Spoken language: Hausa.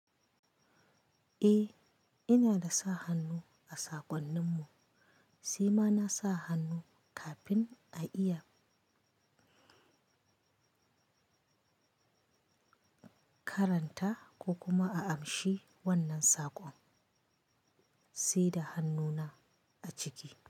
Eh, ina da sa hannu a saƙonninmu, sai ma na sa hannu kafin a iya karanta ko kuma a amshi wannan saƙon, sai da hannuna a ciki.